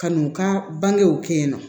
Ka n'u ka bangew kɛ yen nɔ